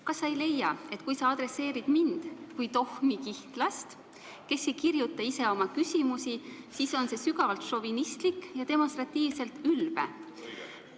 Kas sa ei leia, et kui sa pöördud minu poole kui tohmi kihnlase poole, kes ei kirjuta ise oma küsimusi, siis on see sügavalt šovinistlik ja demonstratiivselt ülbe?